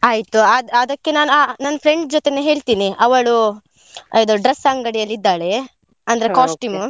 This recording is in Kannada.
ಆಯ್ತು. ಅದ್~ ಅದಕ್ಕೆ ನಾನು ಆ ನನ್ friend ಜೊತೇನೆ ಹೇಳ್ತಿನಿ. ಅವಳು ಇದು dress ಅಂಗಡಿಯಲ್ಲಿ ಇದ್ದಾಳೆ, costume .